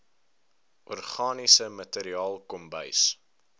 organiese materiaal kombuis